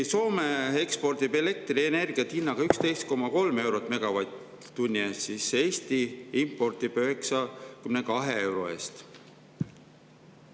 Soome ekspordib elektrienergiat hinnaga 11,3 eurot megavatt-tunni eest, Eesti aga impordib 92 euro eest.